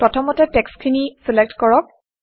প্ৰথমতে টেক্সটখিনি চিলেক্ট কৰক